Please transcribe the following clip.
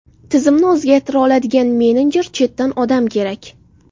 Tizimni o‘zgartira oladigan menejer, chetdan odam kerak.